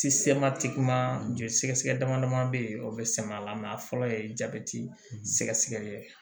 joli sɛgɛ sɛgɛ dama dama be yen o be sɛmɛ a la a fɔlɔ ye jabɛti sɛgɛsɛgɛli ye